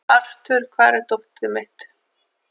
Arthur, hvar er dótið mitt?